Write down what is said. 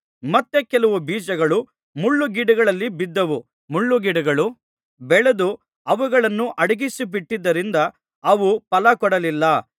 ಮತ್ತೆ ಕೆಲವು ಬೀಜಗಳು ಮುಳ್ಳುಗಿಡಗಳಲ್ಲಿ ಬಿದ್ದವು ಮುಳ್ಳುಗಿಡಗಳು ಬೆಳೆದು ಅವುಗಳನ್ನು ಅಡಗಿಸಿಬಿಟ್ಟದ್ದರಿಂದ ಅವು ಫಲಕೊಡಲಿಲ್ಲ